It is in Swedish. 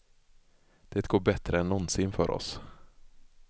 Det går bättre än någonsin för oss.